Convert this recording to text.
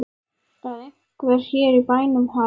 Að einhver hér í bænum hafi.